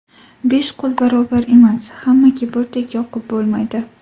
Besh qo‘l barobar emas, hammaga birdek yoqib bo‘lmaydi.